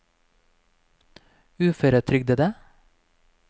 uføretrygdede